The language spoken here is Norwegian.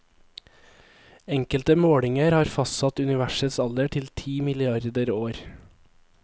Enkelte målinger har fastsatt universets alder til ti milliarder år.